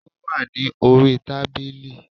Ó wà ní orí i tábìlì